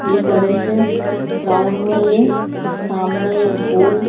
ये बड़े से ग्राउंड में ये सामने ये गोल --